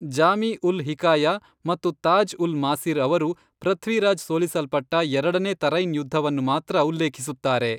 ಜಾಮಿ ಉಲ್ ಹಿಕಾಯಾ ಮತ್ತು ತಾಜ್ ಉಲ್ ಮಾಸಿರ್ ಅವರು, ಪೃಥ್ವಿರಾಜ್ ಸೋಲಿಸಲ್ಪಟ್ಟ ಎರಡನೇ ತರೈನ್ ಯುದ್ಧವನ್ನು ಮಾತ್ರ ಉಲ್ಲೇಖಿಸುತ್ತಾರೆ.